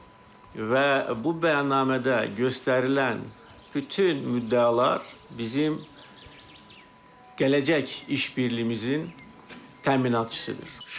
və bu bəyannamədə göstərilən bütün müddəalar bizim gələcək iş birliyimizin təminatçısıdır.